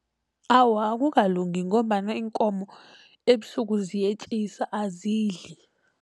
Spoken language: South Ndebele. Awa, akukalungi ngombana iinkomo ebusuku ziyetjisa azidli.